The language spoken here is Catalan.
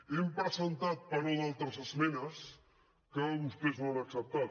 hem presentat però d’altres esmenes que vostès no han acceptat